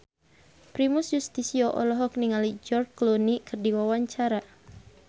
Primus Yustisio olohok ningali George Clooney keur diwawancara